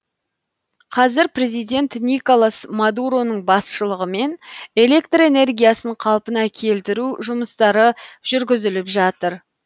қазір президент николас мадуроның басшылығымен электр энергиясын қалпына келтіру жұмыстары жүргізіліп жатыр